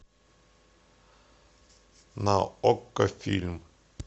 на окко фильм